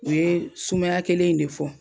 U ye sumaya kelen in de fɔ